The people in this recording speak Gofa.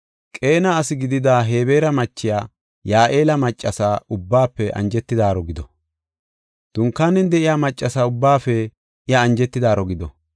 Qeena asi gidida Hebeera machiya, Ya7eeli maccasa ubbaafe anjetidaaro gido. Dunkaanen de7iya maccasa ubbaafe, iya anjetidaaro gido.